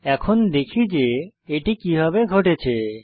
এখন দেখি যে এটি কিভাবে ঘটেছে